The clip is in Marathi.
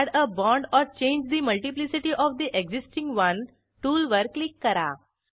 add a bond or change the multiplicity of the existing one टूलवर क्लिक करा